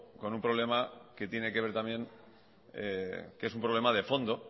con un problema que tiene que ver también que es un problema de fondo